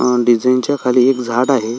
अ design च्या खाली झाड आहे.